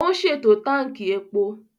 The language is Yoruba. Ó ń ṣètò Tánkì epo